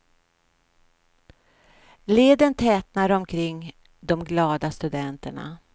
Leden tätnar omkring de glada studenterna.